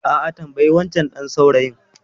A'a, tambayi wancan ɗan saurayin.